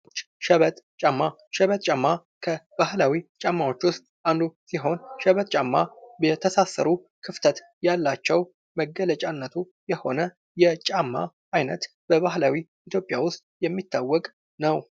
ሸመጥ ጫማ ሸመጥ ጫማ ከባህላዊ ጫማዎች ውስጥ አንዱ ሲሆን ሸበጥ ጫማ የተሳሰረ ክፍተት ያላቸው መገለጫነቱ የሆነ የጫማ አይነት በባህላዊ ኢትዮጵያ ውስጥ የሚታወቅ ነው ::